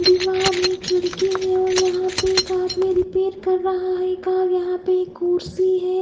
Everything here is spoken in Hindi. दीवार है खिड़की है और यहां पे एक आदमी रिपेयर कर रहा है कार यहां पे एक कुर्सी है।